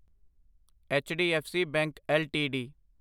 HDFC bank LTD